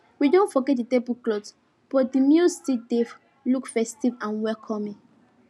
we don forget the tablecloth but the meal still dey look festive and welcoming